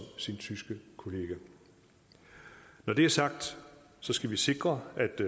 sin tyske kollega når det er sagt skal vi sikre